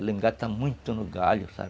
Ela engata muito no galho, sabe?